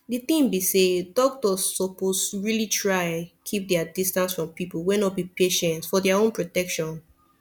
the thing be say doctors suppose really try keep their distance from people wey no be patient for their own protection